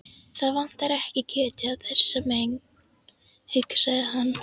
Það vantar ekki kjötið á þessa menn, hugsaði hann.